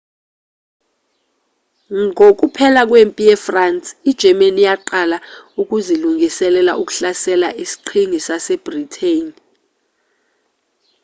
ngokuphela kwempi ye-france i-germany yaqala ukuzilungiselela ukuhlasela isiqhingi sase-britain